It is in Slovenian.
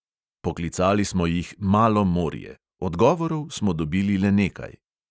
Poklicali smo jih "malo morje" – odgovorov smo dobili le nekaj.